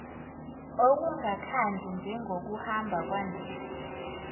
okungakhandli njengokuhamba kwandisa